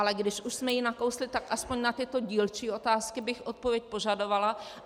Ale když už jsme ji nakousli, tak aspoň na tyto dílčí otázky bych odpověď požadovala.